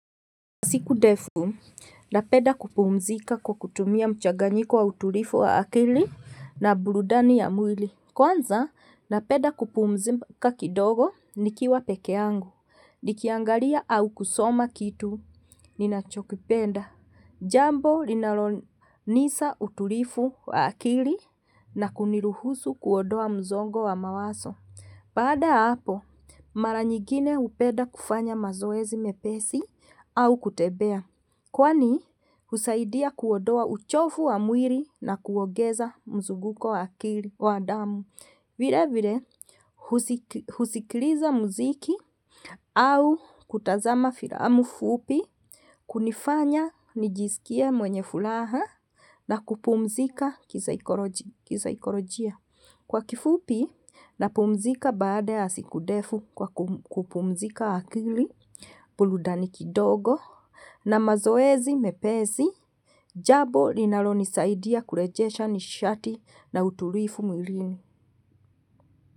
Siku ndefu, napenda kupumzika kwa kutumia mchaganyiko wa utulivu wa akili na burudani ya mwili. Kwanza, napenda kupumzika kidogo nikiwa peke yangu. Nikiangalia au kusoma kitu, ninachokipenda. Jambo linalonisa utulivu wa akili na kuniruhusu kuondoa msongo wa mawazo. Baada ya hapo, mara nyingine hupenda kufanya mazoezi mepesi au kutembea. Kwanii, husaidia kuondoa uchovu wa mwili na kuongeza mzunguko wa damu. Vile vile, husikiliza muziki au kutazama filamu. Fupi, kunifanya nijisikie mwenye furaha na kupumzika kisaikolojia. Kwa kifupi, napumzika baada ya siku ndefu kwa kupumzika akili, burudani kidogo, na mazoezi mepesi, jambo linalonisaidia kurejesha nishati na utulivu mwilini.